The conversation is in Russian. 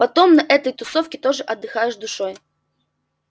потом на этой тусовке тоже отдыхаешь душой